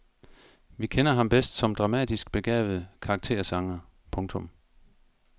Vi kender ham bedst som dramatisk begavet karaktersanger. punktum